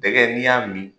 Dɛgɛ n'i y'a min